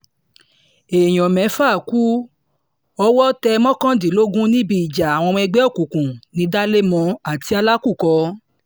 èèyàn mẹ́fà ku owó tẹ̀ mọ́kàdínlógún níbi ìjà àwọn ọmọ ẹgbẹ́ òkùnkùn ní dalemó àti alákọ̀kò